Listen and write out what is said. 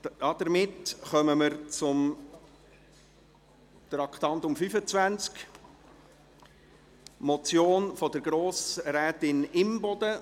Damit kommen wir zum Traktandum 25, eine Motion von Grossrätin Imboden.